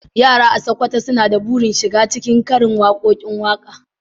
Yara a Sokoto suna da burin shiga cikin karin waƙoƙin waƙa.